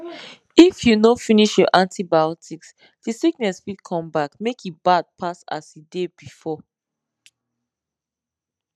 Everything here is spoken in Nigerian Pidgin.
if you no finish your antibiotics the sickness fit come back make e bad pass as e dey before